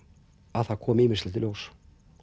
að það komi ýmislegt í ljós